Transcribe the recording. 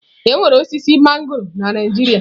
Enwere osisi mangọrọ na Naijiria.